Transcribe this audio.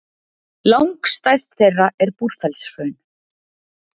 Langstærst þeirra er Búrfellshraun.